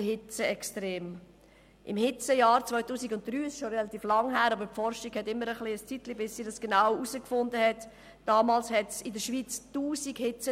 Im Hitzejahr 2003 – es ist schon ein bisschen länger her, aber die Forschung braucht immer Zeit, bis sie genaue Befunde liefern kann – gab es in der Schweiz 1000 Hitzetote.